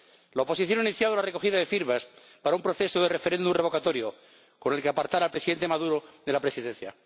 La oposición ha iniciado una recogida de firmas para un proceso de referéndum revocatorio con el que apartar al Presidente Maduro de la presidencia.